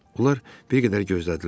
Onlar bir qədər gözlədilər.